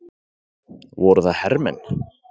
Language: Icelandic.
Voru það hermenn?